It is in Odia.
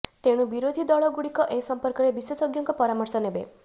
ତେଣୁ ବିରୋଧୀ ଦଳଗୁଡ଼ିକ ଏ ସମ୍ପର୍କରେ ବିଶେଷଜ୍ଞଙ୍କ ପରାମର୍ଶ ନେବେ